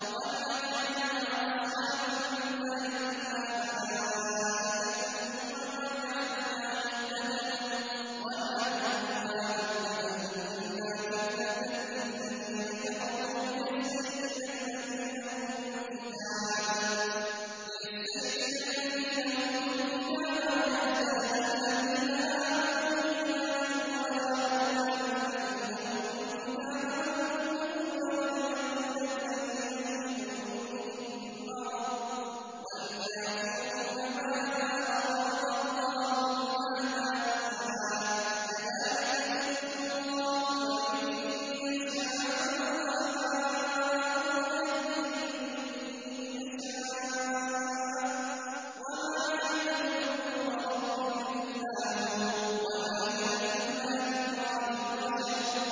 وَمَا جَعَلْنَا أَصْحَابَ النَّارِ إِلَّا مَلَائِكَةً ۙ وَمَا جَعَلْنَا عِدَّتَهُمْ إِلَّا فِتْنَةً لِّلَّذِينَ كَفَرُوا لِيَسْتَيْقِنَ الَّذِينَ أُوتُوا الْكِتَابَ وَيَزْدَادَ الَّذِينَ آمَنُوا إِيمَانًا ۙ وَلَا يَرْتَابَ الَّذِينَ أُوتُوا الْكِتَابَ وَالْمُؤْمِنُونَ ۙ وَلِيَقُولَ الَّذِينَ فِي قُلُوبِهِم مَّرَضٌ وَالْكَافِرُونَ مَاذَا أَرَادَ اللَّهُ بِهَٰذَا مَثَلًا ۚ كَذَٰلِكَ يُضِلُّ اللَّهُ مَن يَشَاءُ وَيَهْدِي مَن يَشَاءُ ۚ وَمَا يَعْلَمُ جُنُودَ رَبِّكَ إِلَّا هُوَ ۚ وَمَا هِيَ إِلَّا ذِكْرَىٰ لِلْبَشَرِ